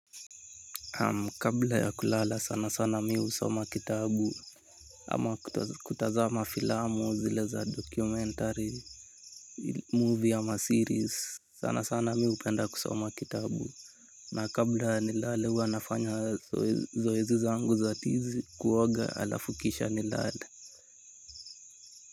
Kabla ya kulala sana sana mimi husoma kitabu ama kutazama filamu zile za documentary movie ama series sana sana mimi hupenda kusoma kitabu na kabla nilale huwa nafanya zoezi zangu za tizi kuoga halafu kisha nilale.